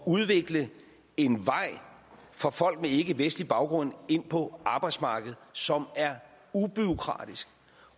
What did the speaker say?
udvikle en vej for folk med ikkevestlig baggrund ind på arbejdsmarkedet som er ubureaukratisk